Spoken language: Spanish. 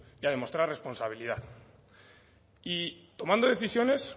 y a demostrar responsabilidad y tomando decisiones